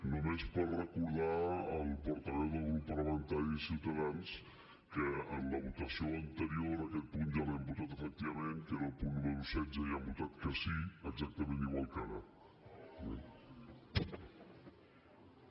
només per recordar al portaveu del grup parlamentari de ciutadans que en la votació anterior aquest punt ja l’hem votat efectivament que era el punt número setze i han votat que sí exactament igual que ara eh